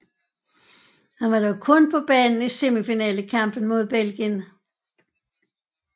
Han var dog kun på banen i semifinalekampen mod Belgien